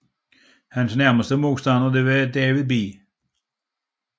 Hans nærmeste modstander var David B